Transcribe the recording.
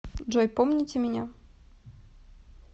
джой помните меня